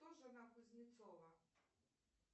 кто жена кузнецова